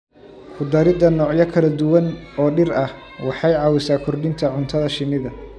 Ku darida noocyo kala duwan oo dhir ah waxay caawisaa kordhinta cuntada shinnida.